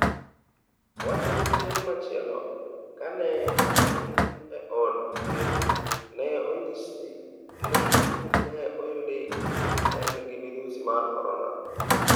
Owacho ni chieng' machielo kane en e od thieth, ne onyisi ni ne oyudi ni en gi midhusi mar Korona.